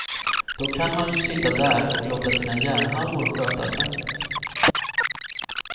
Då kan man ju sitta där och låta sina hjärnhalvor sköta snacket.